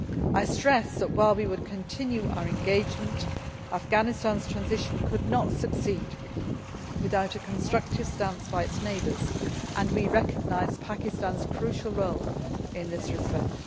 I stressed that while we would continue our engagement, Afghanistan's transition could not succeed without a constructive stance by its neighbours, and we recognised Pakistan's crucial role in this respect.